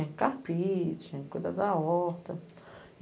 carpete, cuidar da horta.